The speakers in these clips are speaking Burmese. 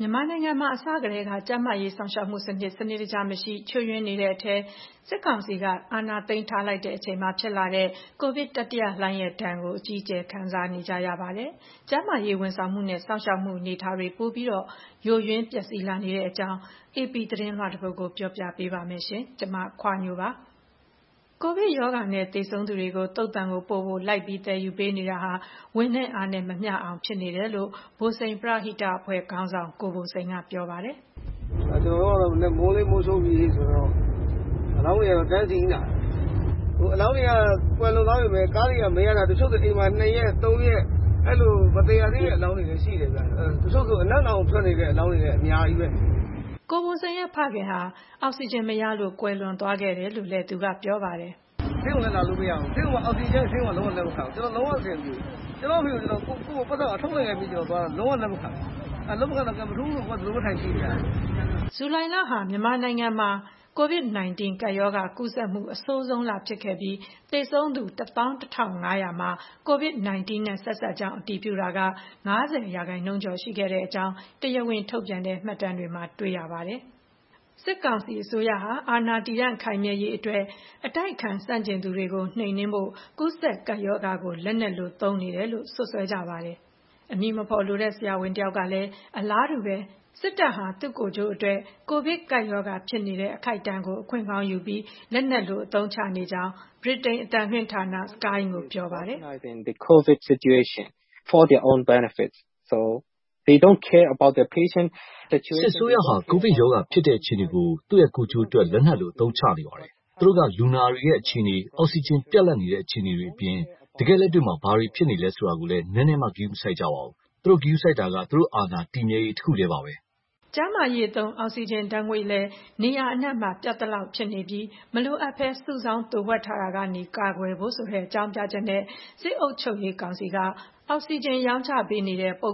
မြန်မာနိုင်ငံမှာ အစကတည်းက ကျန်းမာရေးစောင့်ရှောက်မှုက စနစ်တကျ မရှိ ၊ ချို့ယွင်းနေရတဲ့အထဲ စစ်ကောင်စီက အာဏာသိမ်းထား လိုက်ချိန်မှာဖြစ်လာတဲ့ ကိုဗစ်တတိယလှိုင်းရဲ့ဒဏ်ကို ပြည်သူတွေ အကြီးအကျယ် ခံစားနေရပါတယ်။ ကျန်းမာရေးဝန်ဆောင်မှုနဲ့ စောင့်ရှောက်မှုအနေအထား ပိုပြီး ယိုယွင်းပျက်စီးလာနေပါတယ်။ ဒီအကြောင်း အေပီသတင်းလွှာတပုဒ်ကို မခွါညိုက ပြောပြပေးပါမယ်။ ကိုဗစ်ရောဂါနဲ့သေဆုံးသူတွေကို သုဿန်ကိုပို့ဖို့ လိုက်ပြီး သယ်ယူနေရတာဟာ ဝန်နဲ့အားနဲ့မမျှအောင် ဖြစ်နေတယ်လို့ ဘိုစိန်ပရဟိတအဖွဲ့ခေါင်းဆောင် ကိုဘိုစိန်က ပြောပါတယ်။ “ကျနော်တို့ကတော့ မိုးလင်းကနေ မိုးချုပ်အထိ အလောင်းတွေကတော့ တန်းစီနေတာပဲ။…တချို့ဆို အိမ်မှာ နှစ်ရက်၊ သုံးရက် အဲလို….တချို့ဆို အနံ့တောင် ထွက်နေတဲ့ အလောင်းတွေလည်း အများကြီးပဲ။” ကိုဘိုစိန်ရဲ့ဖခင်ဖြစ်သူဟာလည်း အောက်စီဂျင်မရလို့ ကွယ်လွန်သွားခဲ့ကြောင်းလည်း သူက ပြောပါတယ်။ ဇူလိုင်လဟာ မြန်မာနိုင်ငံမှာ ကိုဗစ်-၁၉ ကပ်ရောဂါ ကူးစက်မှု အဆိုးဆုံးလဖြစ်ခဲ့ပြီး သေဆုံးသူ ၁၁,၅၀၀ မှာ ကိုဗစ်-၁၉ နဲ့ ဆက်စပ်ကြောင်း အတည်ပြုတာ ၅၀ % ကျော် ရှိခဲ့ကြောင်း တရားဝင်ထုတ်ပြန်တဲ့မှတ်တမ်းတွေမှာ တွေ့ရပါတယ်။ ဒေသခံတွေရော လူ့အခွင့်အရေးလှုပ်ရှားသူတွေကပါ စစ်ကောင်စီအစိုးရဟာ မိမိအာဏာတည်တံ့ခိုင်မြဲဖို့ ၊ အတိုက်အခံ ဆန့်ကျင်သူတွေကို နှိမ်နင်းဖို့ ကူးစက်ကပ်ရောဂါကို လက်နက်လို အသုံးချနေတယ်လို့ စွပ်စွဲကြပါတယ်။ အမည်မဖော်လိုတဲ့ ဆရာဝန်တယောက်ကလည်း အလားတူပဲ စစ်တပ်ဟာ သူ့ကိုယ်ကျိုးအတွက် ကိုဗစ် ကပ်ရောဂါဖြစ်နေတဲ့ အခိုက်အတန့်ကို အခွင့်ကောင်းယူပြီး လက်နက်လို အသုံးချနေကြောင်း Sky News သတင်းဌာနကို ပြောပါတယ်။ “စစ်အစိုးရဟာ ကိုဗစ်ရောဂါဖြစ်တဲ့ အခြေအနေကို ကိုယ်ကျိုးအတွက် လက်နက်လို အသုံးချနေပါတယ်။ သူတို့က လူနာတွေရဲ့အခြေအနေ၊ အောက်စီဂျင် ပြတ်လတ်နေတဲ့ အခြေအနေတွေအပြင် တကယ့်လက်တွေ့မှာ ဘာတွေဖြစ်နေသလဲဆိုတာကိုလည်း နည်းနည်းမှ ဂရုမစိုက်ကြဘူး။ သူတို့ဂရုစိုက်တာက သူတို့အာဏာတည်မြဲရေးတခုတည်းပါပဲ။” ကျန်းမာရေးသုံး အောက်စီဂျင်ဓာတ်ငွေ့လည်း နေရာအနှံ့မှာ ပြတ်သလောက်ဖြစ်နေပြီး မလိုအပ်ဘဲ စုဆောင်း သိုဝှက်ထားတာကနေ ကာကွယ်ဖို့ ဆိုတဲ့ အကြောင်းပြချက်နဲ့ စစ်အုပ်ချုပ်ရေးကောင်စီက ပုဂ္ဂလိက အရောင်းဆိုင်တွေကို အောက်စီဂျင်ရောင်းချ ပေးနေတာကို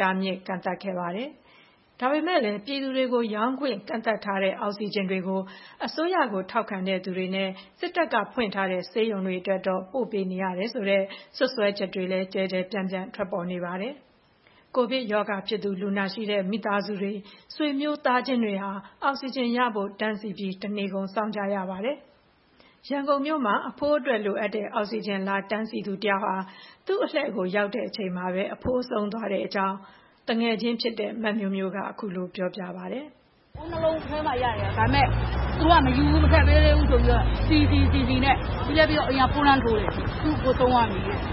တားမြစ် ကန့်သတ်ခဲ့ပါတယ်။ ဒါပေမယ့်လည်း ပြည်သူတွေကို ရောင်းချခွင့် ကန့်သတ်ထားတဲ့ အောက်စီဂျင်တွေကို အစိုးရထောက်ခံသူတွေနဲ့ စစ်တပ်က ဖွင့်ထားတဲ့ ဆေးရုံတွေအတွက်တော့ ပို့ပေးနေရတယ်ဆိုတဲ့ စွပ်စွဲချက်တွေလည်း ကျယ်ကျယ်ပြန့်ပြန့် ထွက်ပေါ်လာပါတယ်။ ကိုဗစ်ရောဂါဖြစ်သူ လူနာရှိတဲ့ မိသားစုတွေ၊ ဆွေမျိုးသားချင်းတွေဟာ အောက်စီဂျင်ရဖို့အတွက် တန်းစီပြီး တနေကုန်စောင့်ကြရပါတယ်။ ရန်ကုန်မှာ အဖိုးအတွက် လိုအပ်တဲ့ အောက်စီဂျင် လာတန်းစီနေသူတယောက်ဟာ သူ့အလှည့် အရောက်မှာပဲ အဖိုးက ဆုံးသွားတဲ့အကြောင်း သူငယ်ချင်းဖြစ်တဲ့ မမျိုးမျိုးက အခုလို ပြောပြပါတယ်။ “အိုးနှစ်လုံး မနက်မှရတယ်။ ဒါပေမယ့် မထည့်ပေးသေးဘူး ဆိုပြီးတော့ စီ…စီ၊ စီ…စီနဲ့ ပြီးလည်းပြီးရော အိမ်က ဖုန်းလှမ်းထိုးတယ်၊ သူ့အကို ဆုံးသွားပြီ-တဲ့။”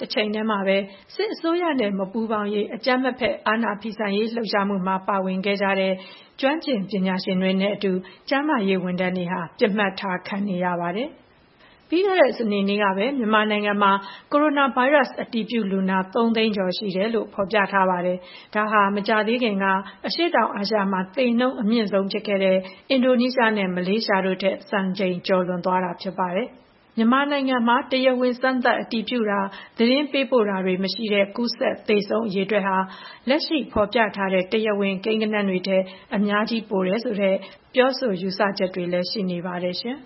တချိန်တည်းမှာပဲ စစ်အစိုးရနဲ့ မပူးပေါင်းရေးအကြမ်းမဖက် အာဏာဖီဆန်ရေးလှုပ်ရှားမှုမှာ ပါဝင်ခဲ့ကြတဲ့ ကျွမ်းကျင်ပညာရှင်တွေနဲ့အတူ ကျန်းမာရေး ဝန်ထမ်းတွေဟာ ပစ်မှတ်ထားခံခဲ့ကြရပါတယ်။ ပြီးခဲ့တဲ့ စနေနေ့ကပဲ မြန်မာနိုင်ငံမှာ ကိုရိုနာဗိုင်းရပ်စ် ကူးစက်အတည်ပြုလူနာ ၃ သိန်းကျော်ရှိကြောင်းနဲ့ မကြာသေးခင်ကပဲ အရှေ့တောင်အာရှမှာ သေနှုန်းအမြင့်ဆုံးဖြစ်ခဲ့တဲ့ အင်ဒိုနီးရှားနဲ့ မလေးရှားတို့ထက် စံချိန် ကျော်လွန်သွားခဲ့ပါတယ်။ မြန်မာနိုင်ငံမှာ တရားဝင် စမ်းသပ်အတည်ပြုတာ၊ သတင်းပို့တာတွေမရှိတဲ့ ကူးစက်သေဆုံးသူ အရေအတွက်ဟာ လက်ရှိဖော်ပြထားတဲ့ တရားဝင် ကိန်းဂဏန်းတွေထက် အများကြီး ပိုတယ်ဆိုတဲ့ ပြောဆိုယူဆချက်တွေလည်း ရှိနေပါတယ်ရှင်